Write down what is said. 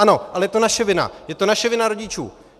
Ano, ale je to naše vina, je to naše vina rodičů!